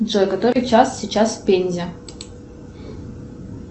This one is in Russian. джой который час сейчас в пензе